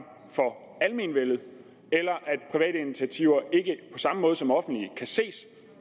for almenvellet eller at private initiativer ikke samme måde som offentlige kan ses